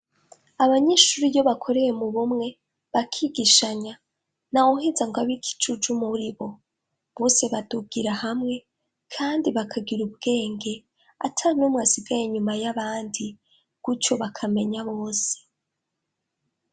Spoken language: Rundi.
abanyeshuri iyo bakoreye mu bumwe, bakigishanya ntawuheza ngo abe ikicujuju muri bo. Bose badugira hamwe, kandi bakagira ubwenge, atanumwe asigaye inyuma y'abandi. Gutyo, bakamenya bose.